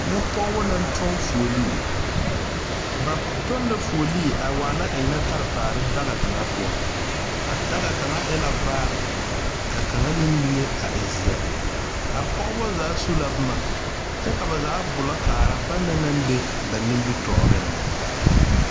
Nyɛ pɔɔbɔ naŋ kyoŋ fuolee ba tɔŋ la fuolee a waana eŋnɛ karetaare daga kaŋa poɔ a daga kaŋa e la vaare ka kaŋa meŋ liŋe a e zeɛ a pɔgebɔ zaa su la bomma kyɛ ka ba zaa gbullɔ kaara ba nang naŋ be ba nimitooreŋ na.